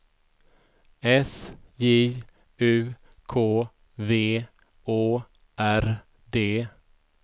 S J U K V Å R D